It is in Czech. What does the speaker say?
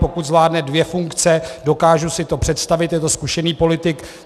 Pokud zvládne dvě funkce, dokážu si to představit, je to zkušený politik.